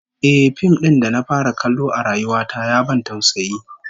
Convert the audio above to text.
Ehh, fim din da na fara kallo a rayuwa ta ya ban tausayi